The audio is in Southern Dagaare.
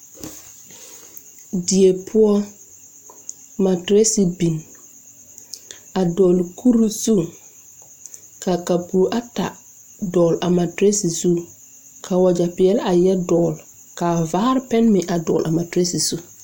Die poɔ matirɛsi bin a dɔɔle kure zu ka kapure ata dɔɔle a matrirɛsi zu ka wagyɛ peɛle a yɛre dɔɔle kaa vaare pɛn meŋ a dɔɔle a matirɛsi zu.